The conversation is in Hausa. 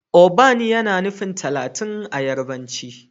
Ogban yana nufin talatin a yarbanci.